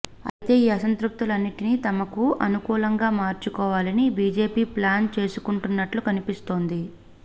అయితే ఈ అసంతృప్తులన్నిటిని తమకు అనుకూలంగా మార్చుకోవాలని బీజేపీ ప్లాన్ చేసుకుంటున్నట్టు కనిపిస్తోంది